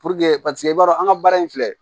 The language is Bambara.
Puruke paseke i b'a dɔn an ka baara in filɛ